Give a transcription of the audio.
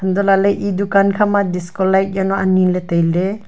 hantoh lah ley e dukan khama discolight jawnu ani ley tai ley.